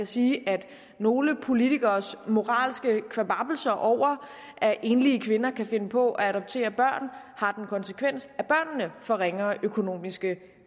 sige at nogle politikeres moralske kvababbelse over at enlige kvinder kan finde på at adoptere børn har den konsekvens at børnene får ringere økonomiske